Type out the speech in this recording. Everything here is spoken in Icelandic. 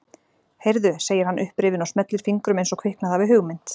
Heyrðu, segir hann upprifinn og smellir fingrum eins og kviknað hafi hugmynd.